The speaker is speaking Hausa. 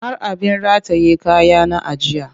Har abin rataye kaya na ajiye